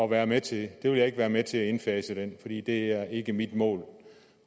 være med til jeg vil ikke være med til at indfase den fordi det ikke er mit mål